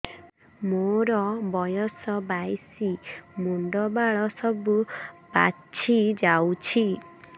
ମୋର ବୟସ ବାଇଶି ମୁଣ୍ଡ ବାଳ ସବୁ ପାଛି ଯାଉଛି